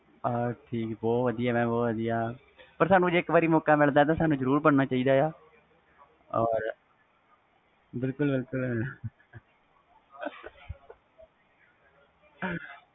ਬਹੁਤ ਵਧੀਆ mam ਜੇ ਸਾਨੂੰ ਇਕ ਵਾਰ ਮੌਕਾ ਮਿਲਦਾ ਤਾ ਇਕ ਵਾਰ ਜਰੂਰ ਬਣਨਾ ਚਾਹੀਦਾ ਵ ਬਿਲਕੁਲ ਬਿਲਕੁਲ mam